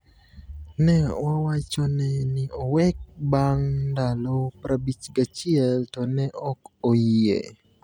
Ne wawachone ni owek bang’ ndalo 51 to ne ok oyie.